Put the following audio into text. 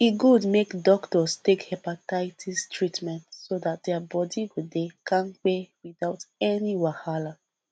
e good make doctors take hepatitis treatment so that their body go dey kampe without any wahala